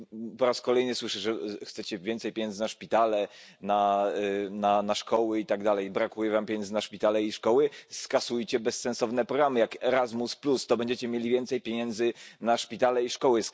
Jeśli po raz kolejny słyszę, że chcecie więcej pieniędzy na szpitale, na szkoły itd., brakuje wam pieniędzy na szpitale i szkoły, skasujcie bezsensowne programy jak Erasmus, to będziecie mieli więcej pieniędzy na szpitale i szkoły.